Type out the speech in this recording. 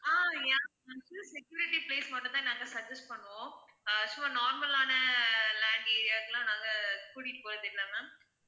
ஆஹ் yeah ma'am full security place மட்டும் தான் நாங்க suggest பண்ணுவோம் அஹ் so normal ஆன land area க் லாம் நாங்க கூட்டிட்டு போறது இல்ல ma'am